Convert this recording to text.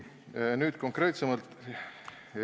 Nüüd konkreetsemalt.